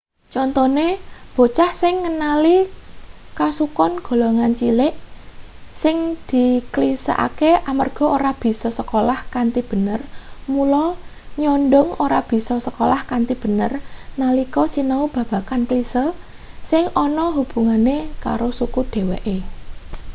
contone bocah sing ngenali kasukon golongan cilik sing diklisekake amarga ora bisa sekolah kanthi bener mula nyondhong ora bisa sekolah kanthi bener nalika sinau babagan klise sing ana hubungane karo suku dheweke